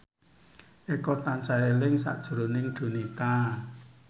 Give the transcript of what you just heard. Eko tansah eling sakjroning Donita